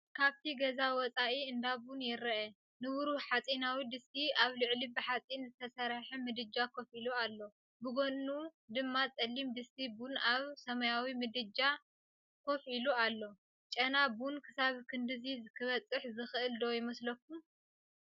ካብቲ ገዛ ወጻኢ እንዳ ቡን ይርአ። ንብሩህ ሓጺናዊ ድስቲ ኣብ ልዕሊ ብሓጺን ዝተሰርሐ ምድጃ ኮፍ ኢሉ ኣሎ። ብጎድኑ ድማ ጸሊም ድስቲ ቡን ኣብ ሰማያዊ ምድጃ ኮፍ ኢሉ ኣሎ። ጨና ቡን ክሳብ ክንድዚ ክበጽሕ ዝኽእል ዶ ይመስለኩም?